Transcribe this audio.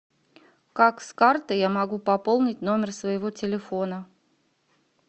как с карты я могу пополнить номер своего телефона